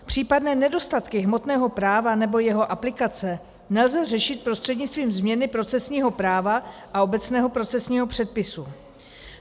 Případné nedostatky hmotného práva nebo jeho aplikace nelze řešit prostřednictvím změny procesního práva a obecného procesního předpisu.